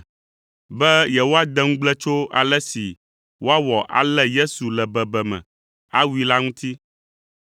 be yewoade ŋugble tso ale si woawɔ alé Yesu le bebeme, awui la ŋuti.